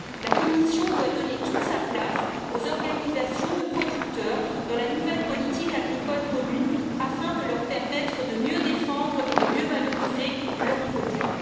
La Commission doit donner toute sa place aux organisations de producteurs dans la nouvelle politique agricole commune afin de leur permettre de mieux défendre et valoriser leurs produits.